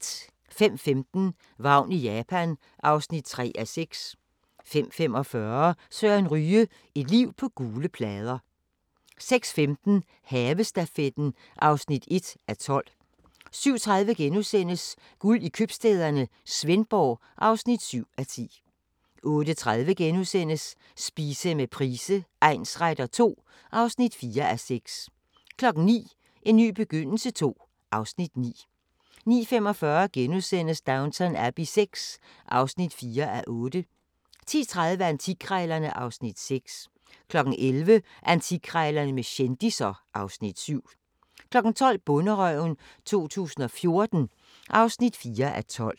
05:15: Vagn i Japan (3:6) 05:45: Søren Ryge – et liv på gule plader 06:15: Havestafetten (1:12) 07:30: Guld i Købstæderne – Svendborg (7:10)* 08:30: Spise med Price egnsretter II (4:6)* 09:00: En ny begyndelse II (Afs. 9) 09:45: Downton Abbey VI (4:8)* 10:30: Antikkrejlerne (Afs. 6) 11:00: Antikkrejlerne med kendisser (Afs. 7) 12:00: Bonderøven 2014 (4:12)